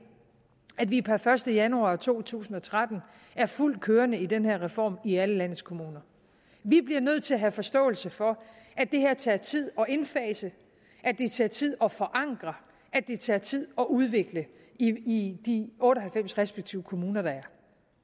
at vi per første januar to tusind og tretten er fuldt kørende med den her reform i alle landets kommuner vi bliver nødt til at have forståelse for at det her tager tid at indfase at det tager tid at forankre at det tager tid at udvikle i de otte og halvfems respektive kommuner der